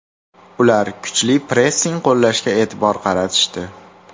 Ular kuchli pressing qo‘llashga e’tibor qaratishdi.